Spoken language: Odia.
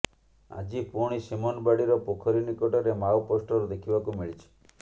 ଆଜି ପୁଣି ସିମନବାଡିର ପୋଖରୀ ନିକଟରେ ମାଓ ପୋଷ୍ଟର ଦେଖିବାକୁ ମିଳିଛି